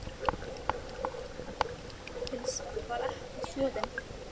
Prófanir sýndu að rúllupylsan var ekki soðin.